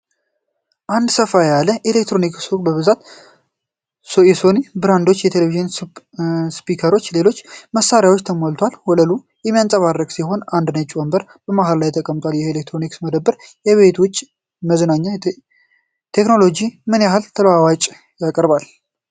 አንድ ሰፋ ያለ የኤሌክትሮኒክስ ሱቅ በብዙ የሶኒ ብራቪያ ቴሌቪዥኖች፣ ስፒከሮችና ሌሎች መሣሪያዎች ተሞልቶል፣ ወለሉ የሚያንጸባርቅ ሲሆን አንድ ነጭ ወንበር በመሃል ላይ የተቀመጠው፣ ይህ የኤሌክትሮኒክስ መደብር የቤት ውስጥ መዝናኛ ቴክኖሎጂ ምን ያህል ተለዋዋጭነትን ያቀርባል?